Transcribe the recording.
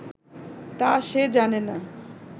তা সে জানে না